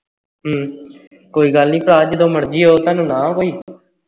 ਹਮ ਕੋਈ ਗੱਲ ਨਹੀਂ ਭਰਾ ਜਦੋਂ ਮਰਜੀ ਆਓ ਤੁਹਾਨੂੰ ਨਾ ਕੋਈ